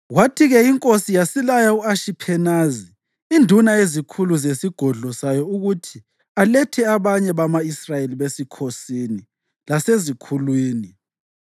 Kwathi-ke inkosi yasilaya u-Ashiphenazi, induna yezikhulu zesigodlo sayo ukuthi alethe abanye bama-Israyeli besikhosini lasezikhulwini,